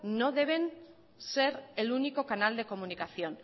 no deben ser el único canal de comunicación